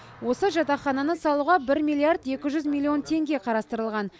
осы жатақхананы салуға бір миллиард екі жүз милллион теңге қарстырылған